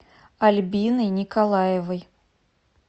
альбиной николаевой